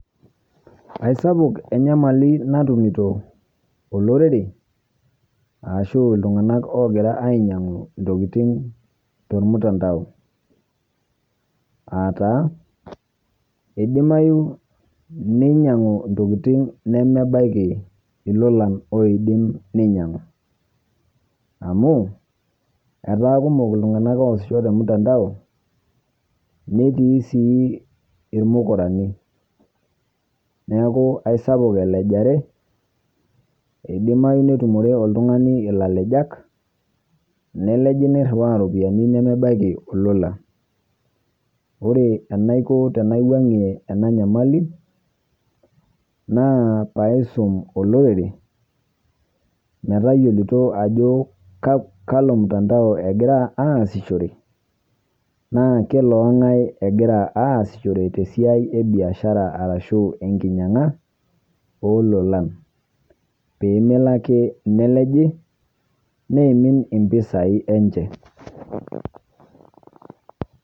Aisapuk enyamali natumiito olorere ashuu ltung'anak ogiraa anyang'u ntokitin to lmtandao. Aata eidimayu nenyang'u ntokitin nemebakii elolang' oidiim nenyang'u, amu etaa kumook ltung'ana oasisho to mtandao netii sii emukurani. Neeku esapuk elajare edimayu neitumore oltung'ani elalejaak neleeji neruwaya ropiani nemebakii lolang'. Ore anaikoo tenawang'e ena nyamali naa paa isuum olorere metaiyelutoo ajoo kaloo mtandao egira asishore, naa keloo ong'ai egira asishore te siai ebiashara arashu enkinyang'a ololang' pee meloo ake neleeji neemin empisai enchee.